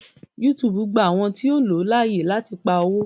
YouTube gba àwọn tíó o ló láàyè lati pá owo.